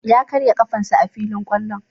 Ya karya ƙafan sa a filin kwallon.